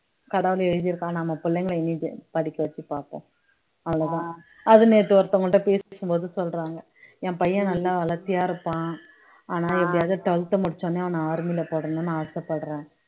கடவுள் எழுதி இருக்கான் நம்ம புள்ளைங்களை படிக்க வச்சு பார்ப்போம் அவ்வளவுதான் அது நேத்து ஒருத்தவங்ககிட்ட பேசிட்டு இருக்கும்போது சொல்றாங்க என் பையன் நல்லா வளர்த்தியா இருப்பான் ஆனால் எப்படியாவது முடிச்ச உடனே அவன army ல போடணும்னு ஆசைப்படுறேன்